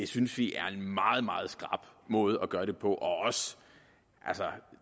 synes vi er en meget meget skrap måde at gøre det på